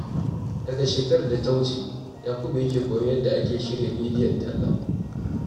Daga shekarar da ta wuce, Yakubu ya ke koyon yadda ake shirya bidiyon talla.